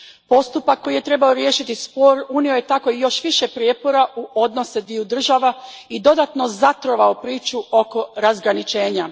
Postupak koji je trebao riješiti spor unio je tako još više prijepora u odnose dviju država i dodatno zatrovao priču oko razgraničenja.